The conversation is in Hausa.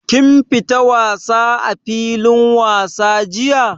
Kun fita wasa a filin wasa jiya?